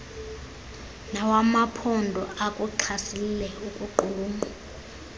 nawamaphondo akuxhasile ukuqulunqwa